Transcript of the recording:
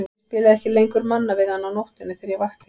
Ég spilaði ekki lengur Manna við hann á nóttunni þegar ég vakti.